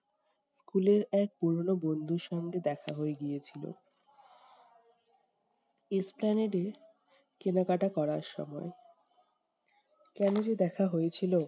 school এর এক পুরো বন্ধুর সঙ্গে দেখা হয়ে গিয়েছিল। কেনাকাটা করার সময়। কেনো যে দেখা হয়েছিলো?